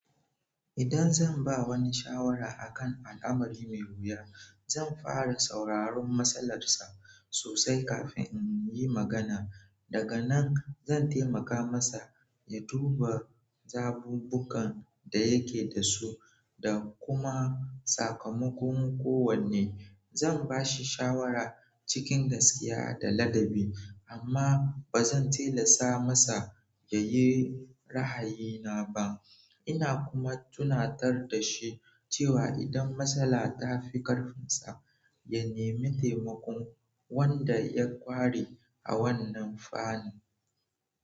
Idan zan ba wani shawara a kan al'amari mai wuya, zan fara sauraron matsalarsa sosai kafin in yi magana. Daga nan zan taimaka masa ya duba zabubbukan da yake da su da kuma sakamakon kowanne. Zan ba shi shawara cikin gaskiya da ladabi, amma ba zan tilasta masa ya yi rahayina ba. Ina kuma tunatar da shi cewa idan matsala ta fi karfinsa, ya nemi taimakon wanda ya ƙware a wannan fanni.